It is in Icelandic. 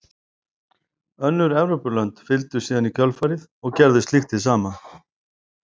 Önnur Evrópulönd fylgdu síðan í kjölfarið og gerðu slíkt hið sama.